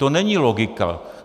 To není logika.